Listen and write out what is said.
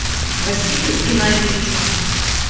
василию геннадьевичу